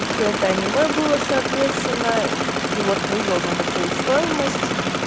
и всё это аниме было соответственно и вот вывел на такую стоимость